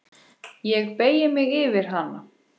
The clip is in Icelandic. Ég beygi mig yfir hana.